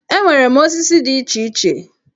Enwere m osisi dị iche iche